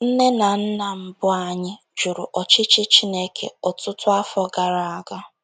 Nne na nna mbụ anyị jụrụ ọchịchị Chineke ọtụtụ afọ gara aga.